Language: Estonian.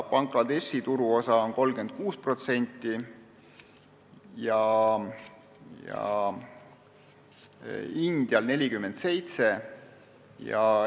Bangladeshi turuosa on 36% ja India oma 47%.